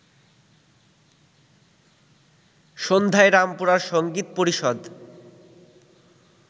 সন্ধ্যায় রামপুরার সঙ্গীত পরিষদ